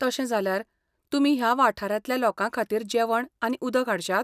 तशें जाल्यार, तुमी ह्या वाठारांतल्या लोकांखातीर जेवण आनी उदक हाडश्यात?